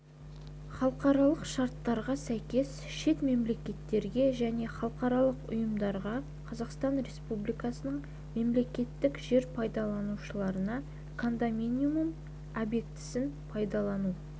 халықаралық шарттарға сәйкес шет мемлекеттерге және халықаралық ұйымдарға қазақстан республикасының мемлекеттік жер пайдаланушыларына кондоминиум объектісін пайдалану